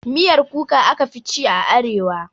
Miyar Kuka aka fi ci a arewa